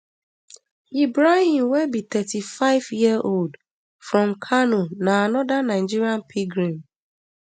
ibrahim wey be thirty-fiveyearold from kano na anoda nigerian pilgrim